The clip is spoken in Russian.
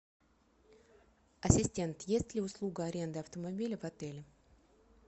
ассистент есть ли услуга аренды автомобиля в отеле